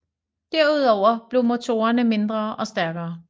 Derudover blev motorerne mindre og stærkere